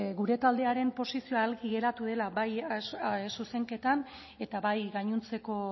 gure taldearen posizioa argi geratu dela bai zuzenketan eta bai gainontzeko